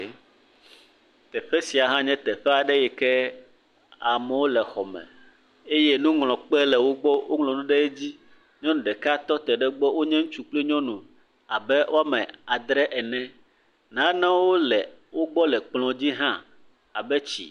ee. Teƒe sia hã nye teƒe aɖe yi ke amewo le xɔme eye nuŋlɔkpe le wogbɔ woŋlɔ nu ɖe edzi. Nyɔnu ɖeka tɔ te ɖe egbɔ, wonye ŋutsu kple nyɔnu abe woame adre ene, nanewo le wogbɔ le kplɔ̃dzi hã abe tsi.